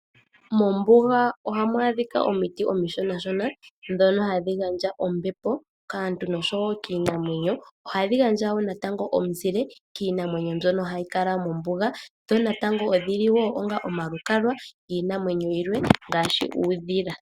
Mombuga ohamu adhika omiti omishona, ndhono hadhi gandja ombepo kaantu noshowo kiinamwenyo. Ohadhi gandja wo omuzike kiinamwenyo mbyoka hayi kala mombuga. Omiti natango odhili wo omalukalwa giinamwenyo yilwe, ngaashi uudhila.